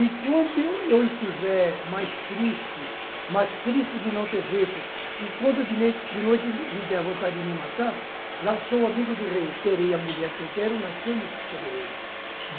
E quando eu estiver mais triste, mais triste de não ter jeito, e quando de noite me der vontade de me matar, lá sou amigo do rei, terei a mulher que eu quero na cama que escolherei.